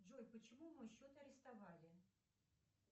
джой почему мой счет арестовали